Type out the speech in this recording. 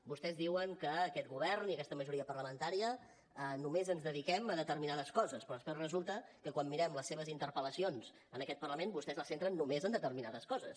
vostès diuen que aquest govern i aquesta majoria parlamentària només ens dediquem a determinades coses però després resulta que quan mirem les seves interpel·lacions en aquest parlament vostès les centren només en determinades coses